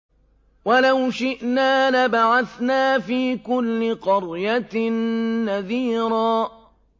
وَلَوْ شِئْنَا لَبَعَثْنَا فِي كُلِّ قَرْيَةٍ نَّذِيرًا